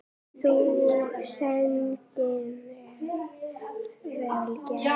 Sú tenging er vel gerð.